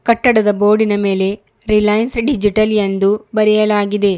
ಕಟ್ಟಡದ ಬೋರ್ಡಿನ ರಿಲಯನ್ಸ್ ಡಿಜಿಟಲ್ ಎಂದು ಬರೆಯಲಾಗಿದೆ.